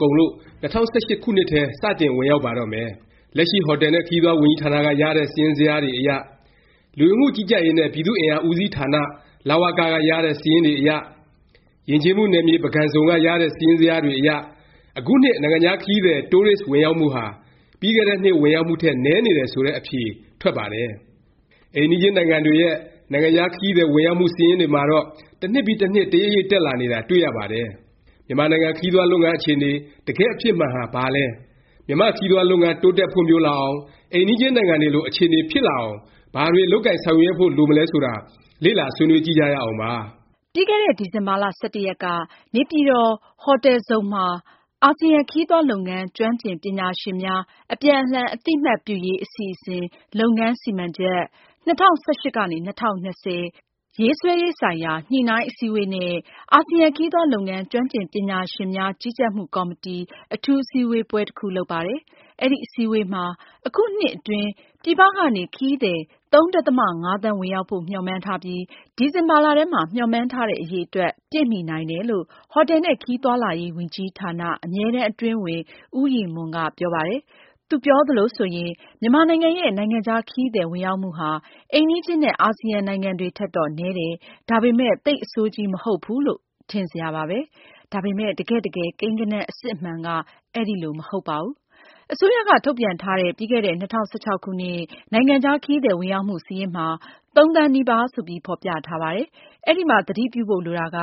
ကုန်လို့ ၂၀၁၈ ခုနှစ်ထဲ စတင်ဝင်ရောက်ပါတော့မယ်။ လက်ရှိ ဟော်တယ်နဲ့ ခရီးသွား ဝန်ကြီးဌာနက ရတဲ့ စာရင်းဇယားတွေအရ၊ လူဝင်မှုကြီးကြပ်ရေးနဲ့ ပြည်သူ့အင်အား ဦးစီးဌာန လဝက က ရတဲ့ စာရင်းတွေအရ၊ ယဉ်ကျေးမှုနယ်မြေ ပုဂံဇုံ က ရတဲ့ စာရင်းဇယားတွေအရ အခုနှစ် နိုင်ငံခြား ခရီးသည် Tourist ဝင်ရောက်မှုဟာ ပြီးခဲ့တဲ့နှစ် ဝင်ရောက်မှုထက် နည်းနေတယ် ဆိုတဲ့ အဖြေ ထွက်ပါတယ်။ အိမ်နီးချင်းနိုင်ငံတွေရဲ့ နိုင်ငံခြား ခရီးသည် ဝင်ရောက်မှု စာရင်းတွေမှာတော့ တစ်နှစ်ပြီး တစ်နှစ် တရိပ်ရိပ် တက်လာနေတာ တွေ့ရပါတယ်။ မြန်မာနိုင်ငံ ခရီးသွားလုပ်ငန်း အခြေအနေ တကယ့်အဖြစ်မှန်ဟာ ဘာလဲ၊ မြန်မာ့ ခရီးသွားလုပ်ငန်း တိုးတက်ဖွံ့ဖြိုးလာအောင်၊ အိမ်နီးချင်းနိုင်ငံတွေလို အခြေအနေ ဖြစ်လာအောင် ဘာတွေ လုပ်ကိုင်ဆောင်ရွက်ဖို့ လိုမလဲဆိုတာ လေ့လာ ဆွေးနွေးကြည့်ကြရအောင်ပါ။ ပြီးခဲ့တဲ့ ဒီဇင်ဘာ ရက်က နေပြည်တော် ဟိုတယ်ဇုန်မှာ အာဆီယံ ခရီးသွားလုပ်ငန်း ကျွမ်းကျင်ပညာရှင်များ အပြန်အလှန်အသိအမှတ်ပြုရေး အစီအစဉ် လုပ်ငန်းစီမံချက် ရေးဆွဲရေးဆိုင်ရာ ညှိနှိုင်းအစည်းဝေးနဲ့ အာဆီယံခရီးသွားလုပ်ငန်း ကျွမ်းကျင် ပညာရှင်များကြီးကြပ်မှု ကော်မတီ အထူးအစည်းအဝေးပွဲ တစ်ခု လုပ်ပါတယ်။ အဲဒီ အစည်းအဝေးပွဲမှာ အခုနှစ်အတွင်း ပြည်ပကနေ ခရီးသည် (၃ ဒသမ ၅)သန်း ဝင်ရောက်ဖို့ မျှော်မှန်းထားပြီး ဒီဇင်ဘာလထဲမှာ မျှော်မှန်းထားတဲ့ အရေအတွက် ပြည့်မီနိုင်တယ်လို့ ဟိုတယ်နှင့်ခရီးသွားလာရေးဝန်ကြီးဌာန အမြဲတမ်းအတွင်းဝန် ဦးရည်မွန်က ပြောပါတယ်။ သူပြောသလိုဆိုရင် မြန်မာနိုင်ငံရဲ့ နိုင်ငံခြား ခရီးသည် ဝင်ရောက်မှုဟာ အိမ်နီးချင်းနဲ့ အာစီယံ နိုင်ငံတွေထက်တော့ နည်းတယ်၊ ဒါပေမယ့် သိပ် အဆိုးကြီး မဟုတ်ဘူးလို့ ထင်စရာပါပဲ။ ဒါပေမယ့် တကယ့်တကယ် ကိန်းဂဏန်း အစစ်အမှန်က အဲလို မဟုတ်ပါဘူး။ အစိုးရက ထုတ်ပြန်ထားတဲ့ ပြီးခဲ့တဲ့ ၂၀၁၆ ခုနှစ် နိုင်ငံခြား ခရီးသည် ဝင်ရောက်မှု စာရင်းမှာ ၃ သန်းနီးပါး ဆိုပြီး ဖော်ပြထားပါတယ်။ အဲဒီမှာ သတိပြုဖို့ လိုတာက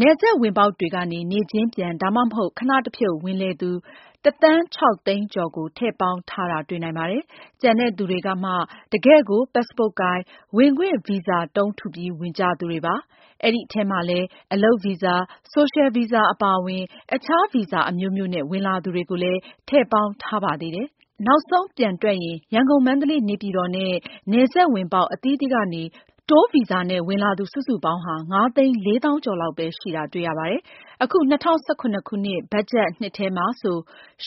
နယ်စပ်ဝင်ပေါက်တွေကနေ နေ့ချင်းပြန်၊ ဒါမှမဟုတ် ခဏတဖြုတ် ဝင်လည်သူ တစ်သန်း ခြောက်သိန်းကျော်ကို ထည့်ပေါင်းထားတာ တွေ့နိုင်ပါတယ်။ ကျန်တဲ့သူတွေကမှ တကယ့်ကို ပတ်စ်ပို့ကိုင်၊ ဝင်ခွင့်ဗီဇာတုံး ထုပြီး ဝင်ကြသူတွေပါ။ အဲဒီအထဲမှာလည်း အလုပ်ဗီဇာ၊ ဆိုရှယ်ဗီဇာအပါအဝင် အခြားဗီဇာ အမျိုးမျိုးနဲ့ ဝင်လာသူတွေကိုလည်း ထည့်ပေါင်းထားပါသေးတယ်။ နောက်ဆုံး ပြန်တွက်ရင် ရန်ကုန်၊ မန္တလေး၊ နေပြည်တော်နဲ့ နယ်စပ်ဝင်ပေါက် အသီးသီးကနေ တိုးဗီဇာနဲ့ ဝင်လာသူ စုစုပေါင်းဟာ ၅သိန်း ၄သောင်းကျော်လောက်ပဲ ရှိတာ တွေ့ရပါတယ်။ အခု ၂၀၁၇ ဘတ်ဂျက်နှစ်ထဲမှာဆို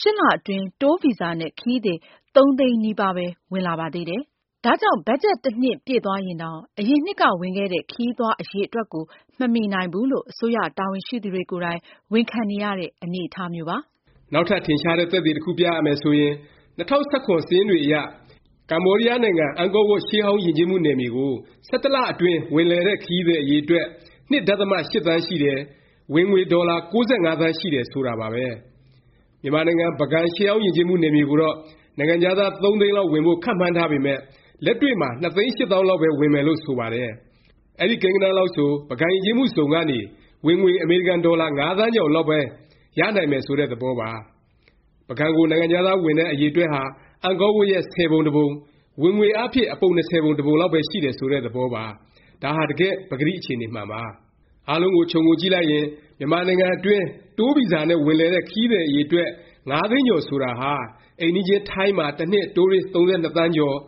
၈ လ အတွင်း တိုးဗီဇာနဲ့ ခရီးသည် ၃ သိန်းနီးပါးပဲ ဝင်လာပါသေးတယ်။ ဒါကြောင့် ဘတ်ဂျက်နှစ် တစ်နှစ် ပြည့်သွားရင်တောင် အရင်နှစ်က ဝင်ခဲ့တဲ့ ခရီးသွား အရည်အတွက်ကို မမီနိုင်ဘူးလို့ အစိုးရ တာဝန်ရှိသူတွေကိုယ်တိုင် ဝန်ခံနေရတဲ့ အနေအထားမျိုးပါ။ နောက်ထပ် ထင်ရှားတဲ့ သက်သေ တစ်ခုပြရမယ် ဆိုရင် ၂၀၁၇ စာရင်းတွေအရ ကမ္ဘောဒီးယားနိုင်ငံ အန်ကောဝပ် ရှေးဟောင်းယဉ်ကျေးမှု နယ်မြေကို ၁၁လအတွင်း ဝင်လည်တဲ့ ခရီးသည် အရည်အတွက် ၂ ဒသမ ၈ သန်းရှိတယ်။ ဝင်ငွေ ဒေါ်လာ ၉၅ သန်းရှိတယ် ဆိုတာပါပဲ။ မြန်မာနိုင်ငံ ပုဂံ ရှေးဟောင်းယဉ်ကျေးမှု နယ်မြေကိုတော့ နိုင်ငံခြားသား ၃ သိန်းလောက် ဝင်ဖို့ မှန်းထားပေမယ့် လက်တွေ့မှာ ၂ သိန်း၈ သောင်းလောက်ပဲ ဝင်မယ်လို့ ဆိုပါတယ်။ အဲဒီကိန်းဂဏန်းလောက်ဆို ပုဂံယဉ်ကျေးမှုဇုံကနေ ဝင်ငွေ အမေရိကန်ဒေါ်လာ ၅ သန်းကျော်လောက်ပဲ ရနိုင်မယ် ဆိုတဲ့ သဘောပါ။ ပုဂံကို နိုင်ငံခြားသား ဝင်တဲ့ အရည်အတွက်ဟာ အန်ကောဝပ်ရဲ့ ဆယ်ပုံတစ်ပုံ၊ ဝင်ငွေအားဖြင့် အပုံ၂၀ပုံ တစ်ပုံလောက်ပဲ ရှိတယ် ဆိုတဲ့ သဘောပါ။ ဒါဟာ တကယ့် ပကတိအခြေအနေမှန်ပါ။ အားလုံးကို ခြုံငုံကြည့်လိုက်ရင် မြန်မာနိုင်ငံတွင်း တိုးဗီဇာနဲ့ ဝင်လည်တဲ့ ခရီးသည် အရည်အတွက် ၅ သိန်းကျော် ဆိုတာဟာ အိမ်နီးချင်း ထိုင်းမှာ တစ်နှစ် တိုးရစ် ၃၂ သန်းကျော်၊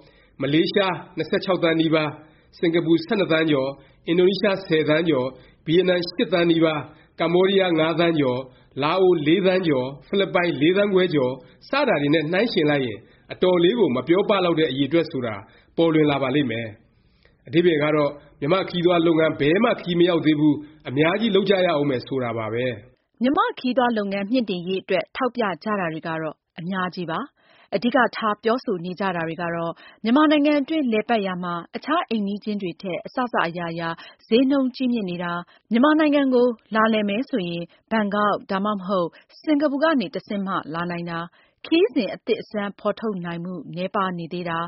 မလေးရှား ၂၆ သန်းနီးပါး၊ စင်ကာပူ ၁၂ သန်းကျော်၊ အင်ဒိုနီးရှား ၁၀ သန်းကျော်၊ ဗီယက်နမ် ၈ သန်းနီးပါး၊ ကမ္ဘောဒီးယား ၅ သန်းကျော်၊ လာအို ၄ သန်းကျော်၊ ဖိလစ်ပိုင် ၄ သန်းခွဲကျော် စတာတွေနဲ့ နှိုင်းယှဉ်လိုက်ရင် အတော်လေးကို မပြောပလောက်တဲ့ အရည်အတွက် ဆိုတာ ပေါ်လွင်လာပါလိမ့်မယ်။ အဓိပ္ပါယ်ကတော့ မြန်မာ့ခရီးသွားလုပ်ငန်း ဘယ်မှ ခရီးမရောက်သေးဘူး၊ အများကြီး လုပ်ကြရဦးမယ် ဆိုတာပါပဲ။ မြန်မာ့ခရီးသွားလုပ်ငန်း မြှင့်တင်ရေး အတွက် ထောက်ပြကြတာတွေကတော့ အများကြီးပါ။ အဓိကထား ပြောဆိုနေကြတာတွေကတော့ မြန်မာနိုင်ငံအတွင်း လည်ပတ်ရာမှာ အခြား အိမ်နီးချင်းတွေထက် အစစ အရာရာ ဈေးနှုန်းကြီးမြင့်နေတာ၊ မြန်မာနိုင်ငံကို လာလည်မယ်ဆိုရင် ဘန်ကောက် ဒါမှမဟုတ် စင်္ကာပူကနေ တဆင့်မှ လာနိုင်တာ၊ ခရီးစဉ် အသစ်အဆန်း ဖော်ထုတ်နိုင်မှု နည်းပါးနေသေးတာ၊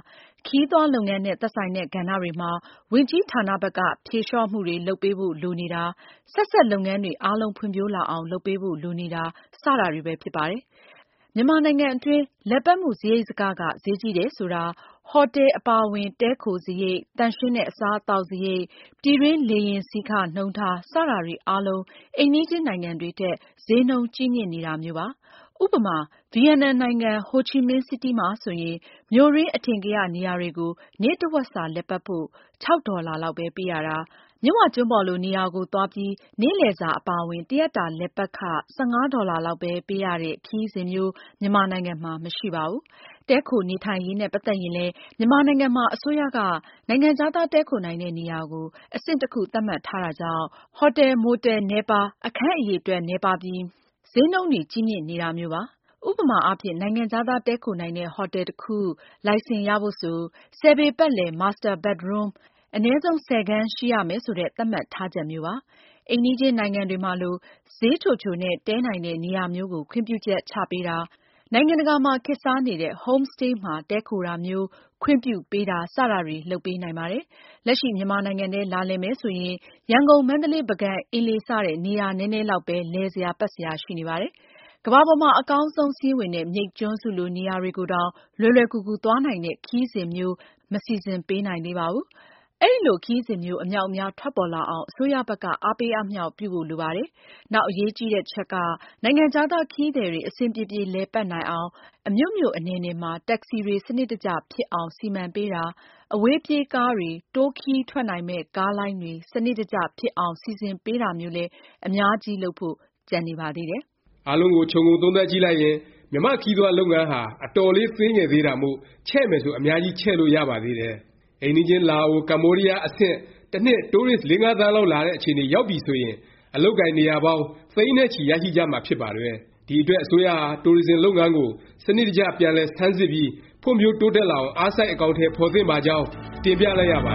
ခရီးသွားလုပ်ငန်းနဲ့ သက်ဆိုင်တဲ့ ကဏ္ဍတွေမှာ ဝန်ကြီးဌာနဘက်က ဖြေလျော့မှုတွေ လုပ်ပေးဖို့ လိုနေတာ၊ ဆက်စပ် လုပ်ငန်းတွေအားလုံး ဖွံ့ဖြိုးလာအောင် လုပ်ပေးဖို့ လိုနေတာ စတာတွေပဲ ဖြစ်ပါတယ်။ မြန်မာနိုင်ငံအတွင်း လည်ပတ်မှု စားရိတ်စက ဈေးကြီးတယ် ဆိုတာ ဟော်တယ် အပါအဝင် တည်းခိုစားရိတ်၊ သန့်ရှင်းတဲ့ အစားအသောက် စားရိတ်၊ ပြည်တွင်း လေယာဉ်စီးခ နှုန်းထား စတာတွေ အားလုံး အိမ်နီးချင်းနိုင်ငံတွေထက် ဈေးနှုန်းကြီးမြင့်နေတာမျိုးပါ။ ဥပမာ ဗီယက်နမ်နိုင်ငံ ဟိုချီမင်းစီးတီး မှာဆိုရင် မြို့တွင်း အထင်ကရ နေရာတွေကို နေ့တစ်ဝက်စာ လည်ပတ်ဖို့ ၆ ဒေါ်လာလောက် ပေးရတာ၊ မြစ်ဝကျွန်းပေါ်လို နေရာကို သွားပြီး နေ့လည်စာ အပါအဝင် တစ်ရက်တာ လည်ပတ်ခ ၁၅ ဒေါ်လာလောက် ပေးရတဲ့ ခရီးစဉ်မျိုး မြန်မာနိုင်ငံမှာ မရှိပါဘူး။ တည်းခို နေထိုင်ရေးနဲ့ ပတ်သက်ရင်လည်း မြန်မာနိုင်ငံမှာ အစိုးရက နိုင်ငံခြားသား တည်းခိုနိုင်တဲ့ နေရာကို အဆင့်တစ်ခု သတ်မှတ်ထားတာကြောင့် ဟော်တယ်၊ မိုတယ် နည်းပါး၊ အခန်းအရည် အတွက် နည်းပါးပြီး ဈေးနှုန်းတွေကြီးမြင့်နေတာမျိုးပါ။ ဥပမာအားဖြင့် နိုင်ငံခြားသား တည်းခိုနိုင်တဲ့ ဟော်တယ်တစ်ခု လိုင်စင်ရဖို့ဆို ၁၀ ပေပတ်လည် Master bedroom အနည်းဆုံး ၁၀ခန်း ရှိရမယ် ဆိုတဲ့ သတ်မှတ်ထားချက်မျိုးပါ။ အိမ်နီးချင်းနိုင်ငံတွေမှာလို ဈေးချိုချိုနဲ့ တည်းနိုင်တဲ့ နေရာမျိုးကို ခွင့်ပြုချက် ချပေးတာ၊ နိုင်ငံတကာမှာ ခေတ်စားနေတဲ့ Homestay မှာတည်းခိုတာမျိုး ခွင့်ပြုပေးတာ စတာတွေ လုပ်ပေးနိုင်ပါတယ်။ လက်ရှိ မြန်မာနိုင်ငံထဲ လာလည်မယ် ဆိုရင် ရန်ကုန်၊ မန္တလေး၊ ပုဂံ၊ အင်းလေး စတဲ့ နေရာနည်းနည်းလောက်ပဲ လည်စရာ ပတ်စရာ ရှိနေပါတယ်။ ကမ္ဘာပေါ်မှာ အကောင်းဆုံး စာရင်းဝင်တဲ့ မြိတ်ကျွန်းစုလို နေရာတွေကိုတောင် လွယ်လွယ်ကူကူ သွားနိုင်တဲ့ ခရီးစဉ်မျိုး မစီစဉ်ပေးနိုင်သေးပါဘူး။ အဲလို ခရီးစဉ်မျိုး အမြောက်အများ ထွက်ပေါ်လာအောင် အစိုးရဘက်က အားပေးအားမြှောက် ပြုဖို့ လိုပါတယ်။ နောက်အရေးကြီးတာ တစ်ချက်က နိုင်ငံခြားသား ခရီးသည်တွေ အဆင်ပြေပြေ လည်ပတ်နိုင်အောင် အမြို့မြို့ အနယ်နယ်မှာ တက္ကစီတွေ စနစ်တကျ ဖြစ်အောင် စီမံပေးတာ၊ အဝေးပြေးကားတွေ၊ တိုးခရီးထွက်နိုင်မယ့် ကားလိုင်းတွေ စနစ်တကျ ဖြစ်အောင် စီစဉ်ပေးတာမျိုးလည်း အများကြီး လုပ်ဖို့ ကျန်နေပါသေးတယ်။ အားလုံးကို ခြုံငုံသုံးသပ်ကြည့်လိုက်ရင် မြန်မာ့ခရီးသွားလုပ်ငန်းဟာ အတော်လေး သေးငယ်သေးတာမို့၊ ချဲ့မယ်ဆို အများကြီး ချဲ့လို့ရပါသေးတယ်။ အိမ်နီးချင်း လာအို၊ ကမ္ဘောဒီးယား အဆင့် တစ်နှစ် တိုးရစ် ၄-၅ သန်းလောက် လာတဲ့ အခြေအနေ ရောက်ပြီဆိုရင် အလုပ်အကိုင် နေရာပေါင်း သိန်းနဲ့ချီ ရရှိကြမှာ ဖြစ်ပါတယ်။ ဒီအတွက် အစိုးရဟာ တိုရစ်ဇင် လုပ်ငန်းကို စနစ်တကျ ပြန်လည် ဆန်းစစ်ပြီး ဖွံ့ဖြိုးတိုးတက်လာအောင် အားစိုက် အကောင်အထည် ဖော်သင့်ပါကြောင်း တင်ပြလိုက်ရပါ